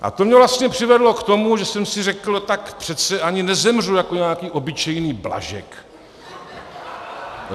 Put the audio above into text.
A to mě vlastně přivedlo k tomu, že jsem si řekl: Tak přece ani nezemřu jako nějaký obyčejný Blažek.